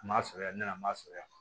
An m'a fɛɛrɛ ne nana an m'a fɛgɛya